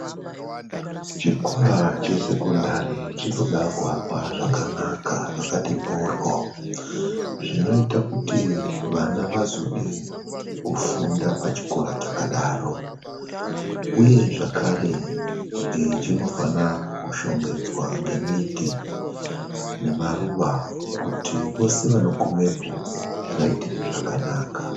Chikora chesekondari chinoda kuakwa zvakanaka, zvakati mhoryo zvinoita kuti vana vazode kufunda pachikora chakadaro, uye zvekare chinofana kushongedzwa ngemiti nemaruwa kuti vose vanogumepo zvivaitire zvakanaka.